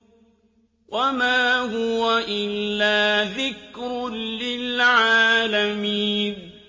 وَمَا هُوَ إِلَّا ذِكْرٌ لِّلْعَالَمِينَ